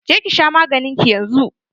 Je ki sha maganin ki yanzun!